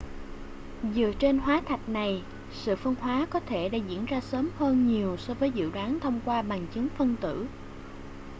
dựa trên hóa thạch này sự phân hóa có thể đã diễn ra sớm hơn nhiều so với dự đoán thông qua bằng chứng phân tử